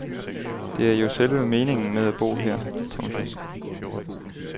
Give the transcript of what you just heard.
Det er jo selve meningen med at bo her. punktum